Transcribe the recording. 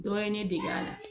Dɔ ye ne dege ala.